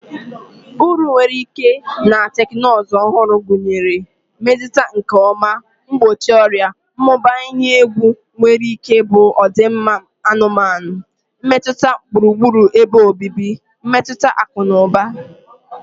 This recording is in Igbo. Uru nwere ike na teknụzụ ọhụrụ gụnyere, Mmezi nke ọma, Mgbochi ọrịa, Mmụba ihe egwu nwere ike bụ ọdịmma anụmanụ, mmetụta gburugburu ebe obibi, mmetụta akụ na ụba.